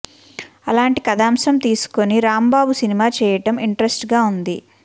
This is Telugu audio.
అలాంటి కథాంశం తీసుకుని రాంబాబు సినిమా చేయడం ఇంట్రెస్ట్ గా ఉంది